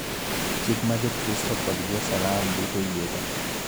Chik ma Jokristo kod Jo-Salam duto oyiego.